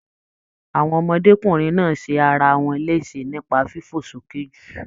Àwọn ọmọdékunrin náà ṣe arawọn lésè nipa fifo soke jù